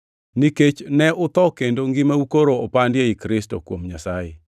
Nikech ne utho kendo ngimau koro opandi ei Kristo, kuom Nyasaye.